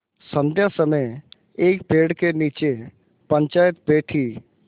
संध्या समय एक पेड़ के नीचे पंचायत बैठी